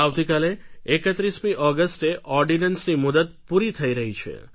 આવતીકાલે એકત્રીસમી ઑગસ્ટે ઑર્ડીનન્સની મુદત પૂરી થઈ રહી છે